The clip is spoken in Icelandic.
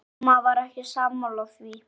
Amma var ekki sammála því.